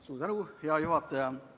Suur tänu, hea juhataja!